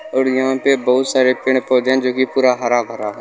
और यहां पे बहुत सारे पेड़-पौधे है जो कि पूरा हरा-भरा है।